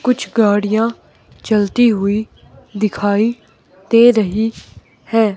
कुछ गाड़ियां चलती हुई दिखाई दे रही है।